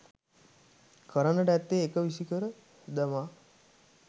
කරන්නට ඇත්තේ එක විසිකර දමා